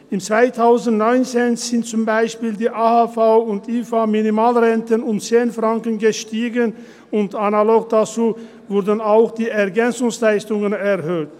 Im 2019 sind zum Beispiel die AHV- und IV-Minimalrenten um 10 Franken gestiegen, und analog dazu wurden auch die Ergänzungsleistungen (EL) erhöht.